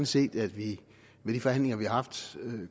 set at vi ved de forhandlinger vi har haft